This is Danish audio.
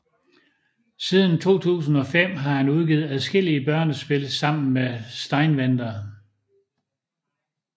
Siden 2005 har han udgivet adskillige børnespil sammen med Steinwender